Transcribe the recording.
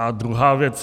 A druhá věc.